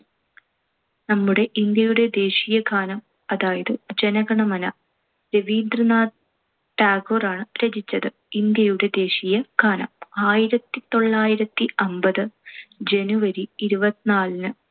നമ്മുടെ ഇന്ത്യയുടെ ദേശീയ ഗാനം. അതായത് ജനഗണമന. രവീന്ദ്രനാഥ ടാഗോർ ആണ് രചിച്ചത് ഇന്ത്യയുടെ ദേശീയ ഗാനം. ആയിരത്തിത്തൊള്ളായിരത്തി അമ്പത് january ഇരുപത്തിനാലിന്